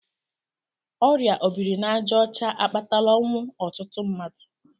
Ọrịa obirinajaọcha akpatala ọnwụ ọtụtụ mmadụ.